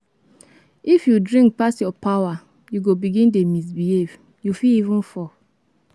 If you drink pass your power, you go begin dey misbehave, you fit even fall.